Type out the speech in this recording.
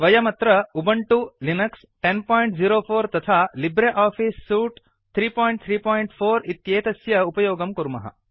वयम् अत्र Ubuntu Linux 1004 तथा लिब्रे आफ़ीस् सूट् 334 इत्येतस्य उपयोगं कुर्मः